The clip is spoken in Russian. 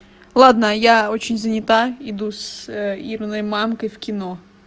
ладно я очень занята иду с ирыной мамкой в кино